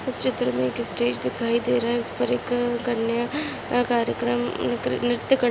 इस चित्र मैं एक स्टेज दिखाई दे रहा है उस पर एक क_कन्या कार्यक्रम क- नृत्य करती--